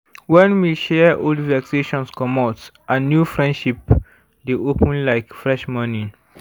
when we share old vexations comot and new friendship dey open like fresh morning.